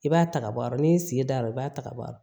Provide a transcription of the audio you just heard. I b'a ta ka bɔ a yɔrɔ ni sigida re i b'a ta ka bɔ a la